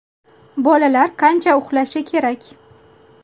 Bolalar qancha uxlashi kerak?